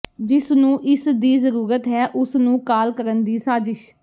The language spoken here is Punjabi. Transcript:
ਜਿਸ ਨੂੰ ਇਸ ਦੀ ਜ਼ਰੂਰਤ ਹੈ ਉਸਨੂੰ ਕਾਲ ਕਰਨ ਦੀ ਸਾਜ਼ਿਸ਼